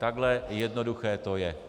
Takhle jednoduché to je.